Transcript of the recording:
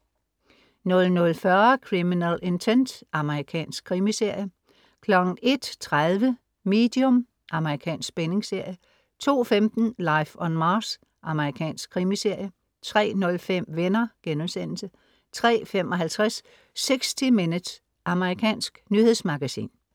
00.40 Criminal Intent. Amerikansk krimiserie 01.30 Medium. Amerikansk spændingsserie 02.15 Life on Mars. Amerikansk krimiserie 03.05 Venner* 03.55 60 Minutes. Amerikansk nyhedsmagasin